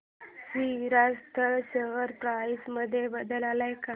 Shri Rajasthan share price मध्ये बदल आलाय का